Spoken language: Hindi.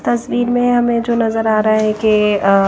तस्वीर में हमें जो नजर आ रहा है कि अह--